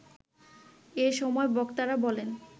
এ সময় বক্তারা বলেন